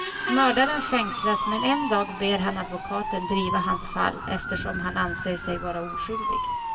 Mördaren fängslas men en dag ber han advokaten driva hans fall eftersom han anser sig vara oskyldig.